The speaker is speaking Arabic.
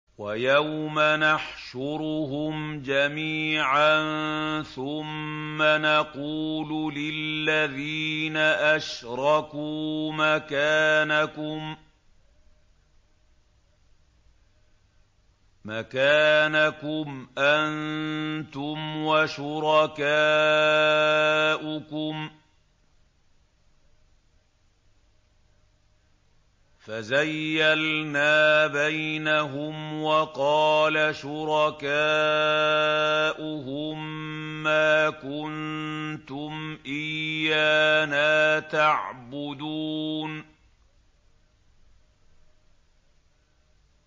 وَيَوْمَ نَحْشُرُهُمْ جَمِيعًا ثُمَّ نَقُولُ لِلَّذِينَ أَشْرَكُوا مَكَانَكُمْ أَنتُمْ وَشُرَكَاؤُكُمْ ۚ فَزَيَّلْنَا بَيْنَهُمْ ۖ وَقَالَ شُرَكَاؤُهُم مَّا كُنتُمْ إِيَّانَا تَعْبُدُونَ